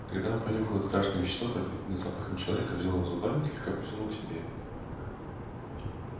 тогда он понюхал это страшное вещество пропитанное запахом человека взял его зубами и слегка потянул к себе